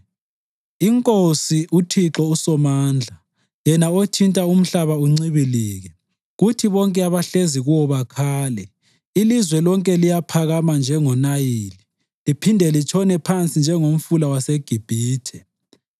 INkosi, uThixo uSomandla, yena othinta umhlaba uncibilike, kuthi bonke abahlezi kuwo bakhale, ilizwe lonke liyaphakama njengoNayili liphinde litshone phansi njengomfula waseGibhithe,